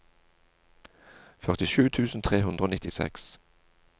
førtisju tusen tre hundre og nittiseks